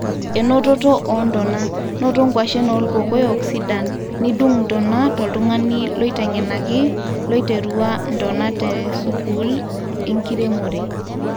enototo o ntona -noto kwashen olkokoyok sidan nidung ntona toltugani loitegenaki loiterua ntona te sukuul e enkiremore